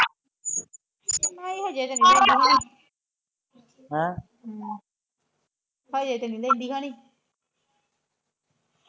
ਨਹੀ ਹਜੇ ਤੇ ਨੀ ਲੈਂਦੀ ਹੋਣੀ ਹਮ ਹਜੇ ਤੇ ਨੀ ਲੈਦੀ ਹੋਣੀ